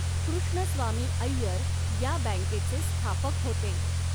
कृष्णस्वामी अय्यर या बँकेचे स्थापक होते.